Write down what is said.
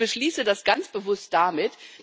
Ich beschließe das ganz bewusst damit.